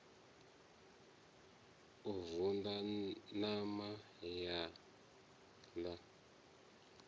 u vunḓa ṋama ya ḽa